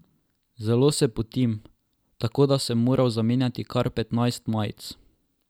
Zelo se potim, tako da sem moral zamenjati kar petnajst majic.